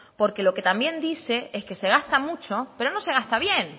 porque lo que también dice es que se gasta mucho pero no se gasta bien